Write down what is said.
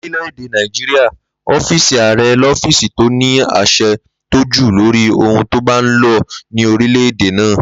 Lórílè̩-èdè Nàìjíríà, ó̩fíìsì ààre̩ ló̩fíìsì tó ní às̩e̩ tó jù lórí ohun tó bá ń lo̩ ní orílè̩-èdè náà